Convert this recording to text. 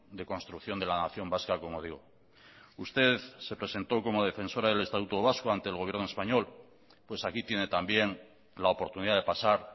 de construcción de la nación vasca como digo usted se presentó como defensora del estatuto vasco ante el gobierno español pues aquí tiene también la oportunidad de pasar